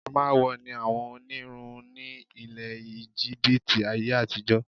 Amawo ni àwọn onírun ni ilẹ̀ Íjíbítì ayé-àtijọ.